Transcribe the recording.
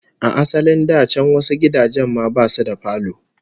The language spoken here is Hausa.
A asalin da can wasu gidajen ma basu da falo